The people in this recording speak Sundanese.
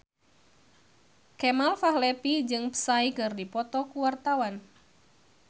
Kemal Palevi jeung Psy keur dipoto ku wartawan